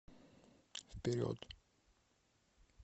вперед